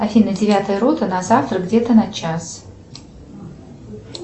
афина девятая рота на завтра где то на час